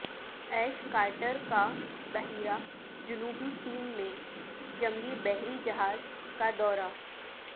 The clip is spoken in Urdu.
ایش کارٹر کا بحیرہ جنوبی چین میں جنگی بحری جہاز کا دورہ